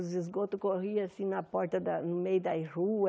Os esgotos corriam assim na porta da, no meio das ruas.